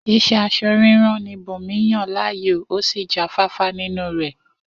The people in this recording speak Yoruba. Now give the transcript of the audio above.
Is̩é̩ as̩o̩-rírán ni Bùnmi yàn láàyò, ó sì jáfáfá nínú rè̩